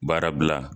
Baara bila